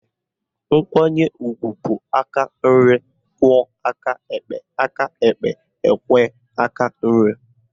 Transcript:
Nkwanye ugwu bụ aka nri kwo aka ekpe aka ekpe ekwe aka nri